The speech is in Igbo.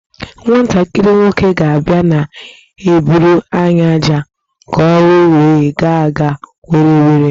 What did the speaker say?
Nwantakịrị nwoke ga abia na-eburu anyị ájá ka ọrụ wee gaa were were